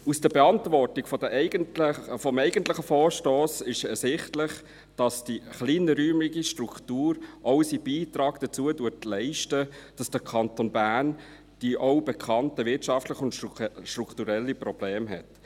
Aus der Beantwortung des eigentlichen Vorstosses ist ersichtlich, dass die kleinräumige Struktur auch ihren Beitrag dazu leistet, dass der Kanton Bern die auch bekannten wirtschaftlichen und strukturellen Probleme hat.